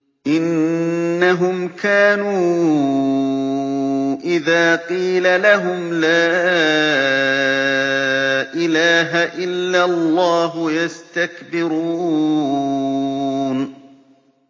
إِنَّهُمْ كَانُوا إِذَا قِيلَ لَهُمْ لَا إِلَٰهَ إِلَّا اللَّهُ يَسْتَكْبِرُونَ